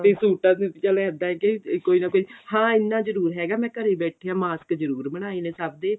ਤੇ ਸੂਟਾਂ ਤੇ ਇੱਦਾਂ ਕੇ ਚੱਲ ਕੋਈ ਨਾ ਕੋਈ ਹਾਂ ਇੰਨਾ ਜਰੂਰ ਹੈਗਾ ਮੈਂ ਘਰੇ ਬੈਠੀ ਆ mask ਜਰੂਰ ਬਣਾਏ ਨੇ ਸਭ ਦੇ